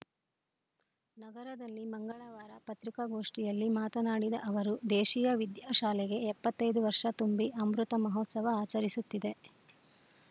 ನಗರದಲ್ಲಿ ಮಂಗಳವಾರ ಪತ್ರಿಕಾಗೋಷ್ಠಿಯಲ್ಲಿ ಮಾತನಾಡಿದ ಅವರು ದೇಶೀಯ ವಿದ್ಯಾಶಾಲೆಗೆ ಎಪ್ಪತ್ತೈ ದು ವರ್ಷ ತುಂಬಿ ಅಮೃತ ಮಹೋತ್ಸವ ಆಚರಿಸುತ್ತಿದೆ